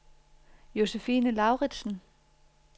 Josephine Lauritsen